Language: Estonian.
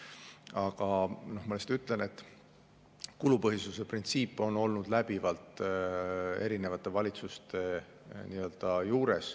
Aga ma lihtsalt ütlen, et kulupõhisuse printsiip on olnud läbivalt erinevate valitsuste ajal.